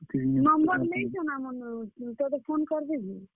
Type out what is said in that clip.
Number ନେଇଛନ୍ ଆମର୍ ନୁ ତତେ phone କର୍ ବେ ଯେ।